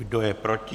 Kdo je proti?